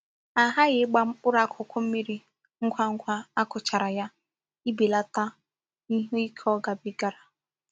A haghi igba mkpuru akuku mmiri ngwa ngwa a kugharchara ya ibelata ihe Ike o gabigara.